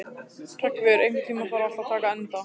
Hreggviður, einhvern tímann þarf allt að taka enda.